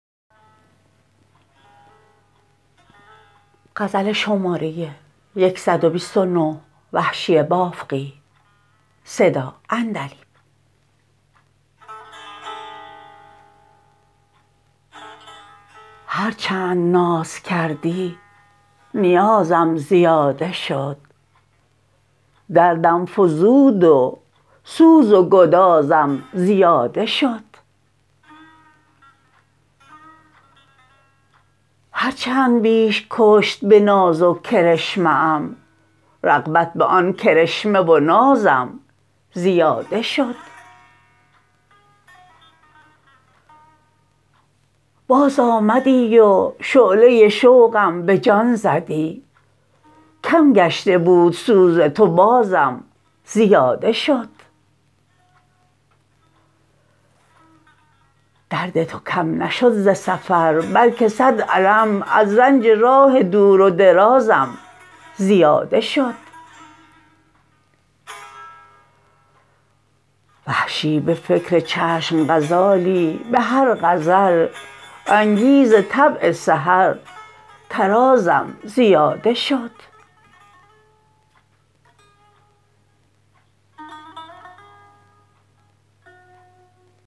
هر چند ناز کردی نیازم زیاده شد دردم فزود و سوز و گدازم زیاده شد هر چند بیش کشت به ناز و کرشمه ام رغبت به آن کرشمه و نازم زیاده شد باز آمدی و شعله شوقم به جان زدی کم گشته بود سوز تو بازم زیاده شد درد تو کم نشد ز سفر بلکه سد الم از رنج راه دور و درازم زیاده شد وحشی به فکر چشم غزالی به هر غزل انگیز طبع سحر طرازم زیاده شد